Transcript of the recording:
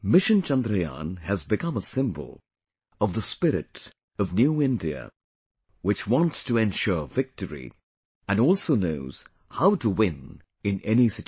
Mission Chandrayaan has become a symbol of the spirit of New India, which wants to ensure victory, and also knows how to win in any situation